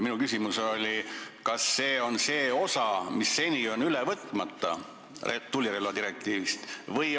Minu küsimus oli, kas see on see osa tulirelvadirektiivist, mis seni on üle võtmata.